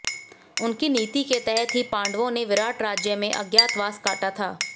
उनकी नीति के तहत ही पांडवों ने विराट राज्य में अज्ञातवास काटा था